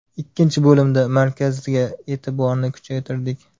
Ikkinchi bo‘limda markazga e’tiborni kuchaytirdik.